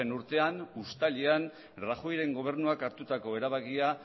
urtean uztailean rajoyren gobernuak hartutako erabakia